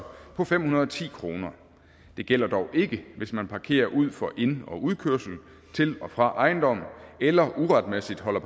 på fem hundrede og ti kroner det gælder dog ikke hvis man parkerer ud for ind og udkørsel til og fra ejendomme eller uretmæssigt holder